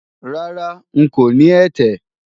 Rárá, ń kò ní ẹ̀tẹ̀